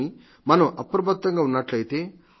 కానీ మనం అప్రమత్తంగా ఉన్నట్లయితే